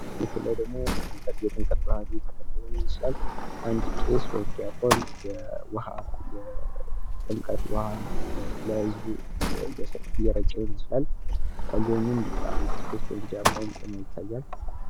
እዚህ ላይ ደሞ የጥምቀት በአል እየተከበረ ይመስላል ፤ አንድ ቄስ ወይም ዲያቆን የጥምቀት ዉሃ ለህዝቡ እየረጨ ይመስላል ፤ ከጎኑም ሌላ አንድ ቄስ ወይም ዲያቆን ቆሞ ይታያል ።